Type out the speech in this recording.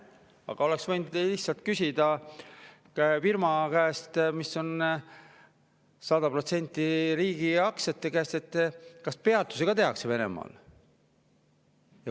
Aga oleks võinud lihtsalt küsida firma käest, mille aktsiad on sada protsenti riigi käes, kas peatusi ka Venemaal tehakse.